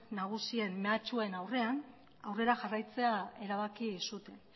nagusien mehatxuen aurrean aurrera jarraitzea erabaki zuten